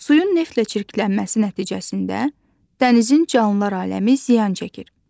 Suyun neftlə çirklənməsi nəticəsində dənizin canlılar aləmi ziyan çəkir.